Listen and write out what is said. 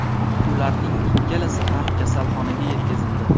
Ularning ikkalasi ham kasalxonaga yetkazildi.